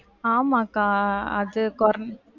ஆமாகா அது குறைஞ்சி~